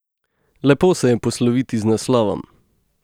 Lepo se je posloviti z naslovom.